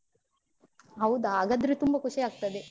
ಹೌದಾ, ಹಾಗಾದ್ರೆ ತುಂಬ ಖುಷಿ ಆಗ್ತದೆ.